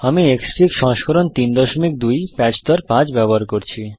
আমি ক্সফিগ সংস্করণ ৩২ প্যাচ স্তর ৫ ব্যবহার করছি